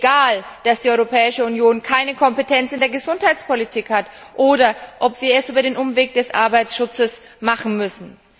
egal, dass die Europäische Union keine Kompetenz in der Gesundheitspolitik hat oder ob wir es über den Umweg des Arbeitsschutzes machen müssen?